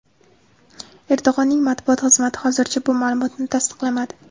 Erdo‘g‘onning matbuot xizmati hozircha bu ma’lumotni tasdiqlamadi.